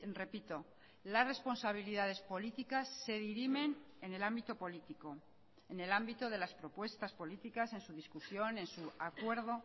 repito las responsabilidades políticas se dirimen en el ámbito político en el ámbito de las propuestas políticas en su discusión en su acuerdo